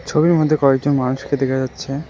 ছবির মধ্যে কয়েকজন মানুষকে দেখা যাচ্ছে।